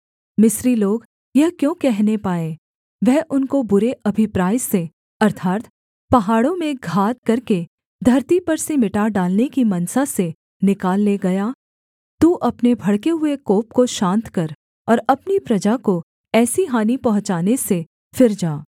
मिस्री लोग यह क्यों कहने पाएँ वह उनको बुरे अभिप्राय से अर्थात् पहाड़ों में घात करके धरती पर से मिटा डालने की मनसा से निकाल ले गया तू अपने भड़के हुए कोप को शान्त कर और अपनी प्रजा को ऐसी हानि पहुँचाने से फिर जा